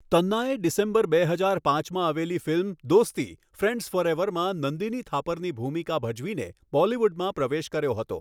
તન્નાએ December બે હજાર પાંચમાં આવેલી ફિલ્મ 'દોસ્તીઃ ફ્રેન્ડ્સ ફોરએવર'માં નંદિની થાપરની ભૂમિકા ભજવીને બોલિવૂડમાં પ્રવેશ કર્યો હતો.